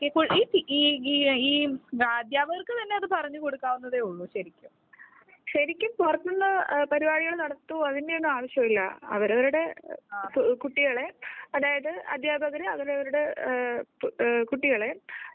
ഈ ഈ ഈ അദ്ധ്യാപകർക്ക് തന്നെഅത് പറഞ്ഞു കൊടുക്കാവുന്നതെ ഉള്ളൂ ശരിക്കും ശരിക്കും പുറത്ത് നിന്ന് പരിപാടികൾനടത്തുവോ അതിന്റെ ഒന്നും ആവശ്യമില്ല അവരവരുടെ കുട്ടികളെ അതായത് അധ്യാപകർ അവരവരുടെ കുട്ടികളെ